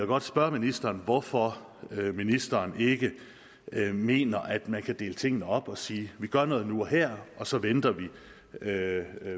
godt spørge ministeren hvorfor ministeren ikke mener at man kan dele tingene op og sige vi gør noget nu og her og så venter vi med